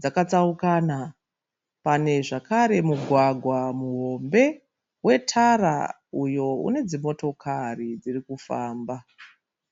dzakatsaukana. Panezvakare mugwagwa muhombe wetara uyo unedzimotokari dzirikufamba.